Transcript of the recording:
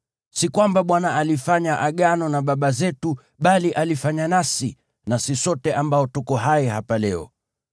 Si kwamba Bwana alifanya Agano na baba zetu, bali alifanya nasi, nasi sote ambao tuko hai hapa leo.